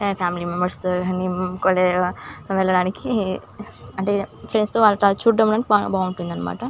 అంటే ఫ్రెండ్స్ తో చూడడానికి బావుంటుందన్నమాట.